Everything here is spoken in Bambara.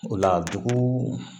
O la dugu